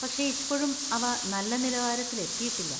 പക്ഷേ, ഇപ്പോഴും അവ നല്ല നിലവാരത്തിലെത്തിയിട്ടില്ല.